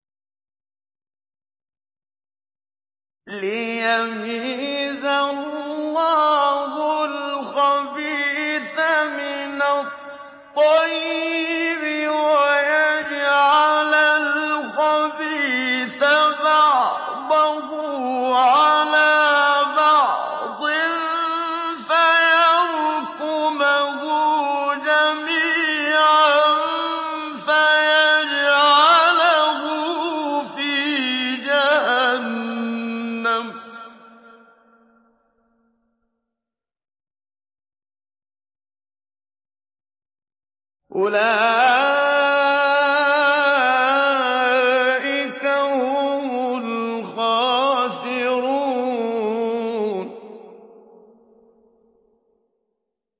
لِيَمِيزَ اللَّهُ الْخَبِيثَ مِنَ الطَّيِّبِ وَيَجْعَلَ الْخَبِيثَ بَعْضَهُ عَلَىٰ بَعْضٍ فَيَرْكُمَهُ جَمِيعًا فَيَجْعَلَهُ فِي جَهَنَّمَ ۚ أُولَٰئِكَ هُمُ الْخَاسِرُونَ